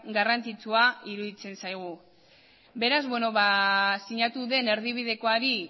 garrantzitsua iruditzen zaigu beraz sinatu den erdibidekoari